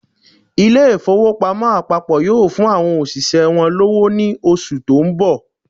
Ilé ìfowópamọ́ àpapọ̀ yóò fún àwọn òṣìṣẹ́ wọn lọ́wọ́ ní oṣù tó ń nọ̀